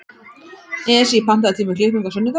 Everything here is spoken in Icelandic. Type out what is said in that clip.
Esí, pantaðu tíma í klippingu á sunnudaginn.